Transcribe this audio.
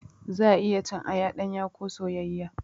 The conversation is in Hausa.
Za'a iya cin aya ɗanya ko soyayyiya.